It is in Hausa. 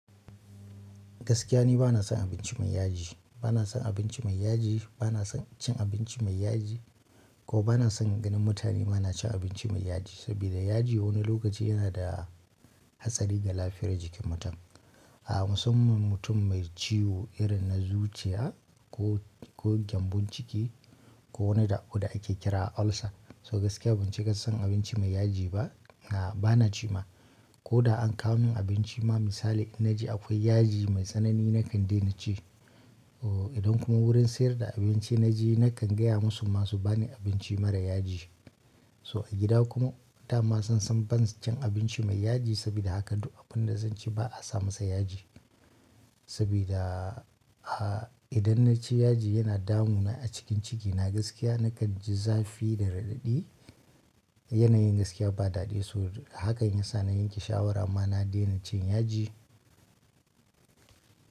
Gaskiya ne bana son abinci mai yaji, bana son abinci mai yaji, bana son cin abinci mai yaji ko bana son ganin mutane ma na cin abinci mai yaji. Saboda yaji wani lokaci yana da hatsari ga lafiyar jikin mutum. A musaman mutum mai ciwo irin na zuciya ko, ko gyambon ciki ko wani da'o da ake kira ulcer. So gaskiya ban ci ka san abinci mai yaji ba na bana ci ma. Ko da an kswo min abinci ma misali in na ji akwai yaji mai tsanani na kan daina ci. Oh idan kuma wurin sayar da abinci na je na kan gaya musu ma su ba ni abinci mara yaji. So a gida kuma dama sun san ban cin abinci mai yaji saboda haka duk abin da zan ci ba a sa masa yaji. Saboda, a idan na ci yaji yana damu na a cikin ciki na gaskiya na kan ji zafi da raɗaɗi. Yanayin gaskiya ba daɗi so hakan ya sa na yanke shawara ma na daina cin yaji.